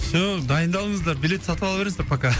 все дайындалыңыздар билет сатып ала беріңіздер пока